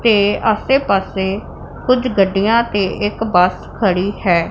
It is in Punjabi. ਤੇ ਆਸੇ ਪਾਸੇ ਕੁਝ ਗੱਡੀਆਂ ਤੇ ਇੱਕ ਬੱਸ ਖੜੀ ਹੈ।